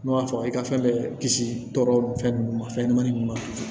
Ne b'a fɔ i ka fɛn bɛɛ kisi tɔɔrɔ fɛn ninnu ma fɛnɲɛnɛmanin ninnu ma